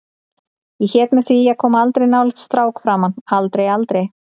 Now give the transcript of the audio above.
Og hét mér því að koma aldrei nálægt strák framar, aldrei, aldrei.